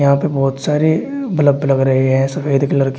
यहां पे बहोत सारे बल्ब लग रहे हैं सफेद कलर के।